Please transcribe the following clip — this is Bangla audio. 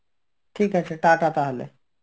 ঠিক আছে ta-ta তাহলে.